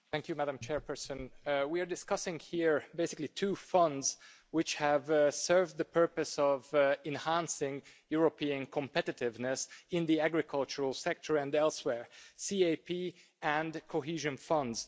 Madam President, we are discussing here basically two funds which have served the purpose of enhancing European competitiveness in the agricultural sector and elsewhere the CAP and the Cohesion Fund.